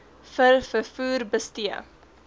v vervoer bestee